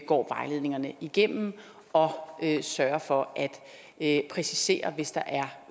går vejledningerne igennem og sørger for at præcisere hvis der er